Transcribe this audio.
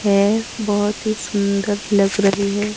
है बहुत ही सुंदर लग रही है।